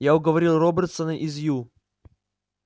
я уговорил робертсона из ю